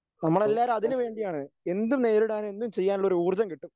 നമ്മളെല്ലാവരും അതിനുവേണ്ടിയാണ് എന്തും നേരിടാൻ എന്തും ചെയ്യാനുള്ള ഒരു ഊർജം കിട്ടും.